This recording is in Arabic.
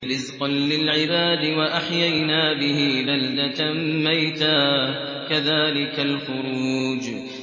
رِّزْقًا لِّلْعِبَادِ ۖ وَأَحْيَيْنَا بِهِ بَلْدَةً مَّيْتًا ۚ كَذَٰلِكَ الْخُرُوجُ